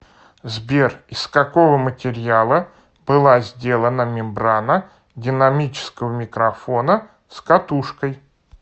сбер из какого материала была сделана мембрана динамического микрофона с катушкой